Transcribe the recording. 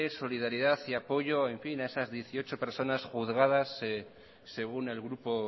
solidaridad y apoyo a esas dieciocho personas juzgadas según el grupo